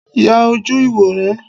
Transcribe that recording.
Ya ojú ìwòran!